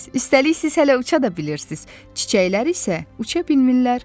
Üstəlik siz hələ uça da bilirsiniz, çiçəklər isə uça bilmirlər.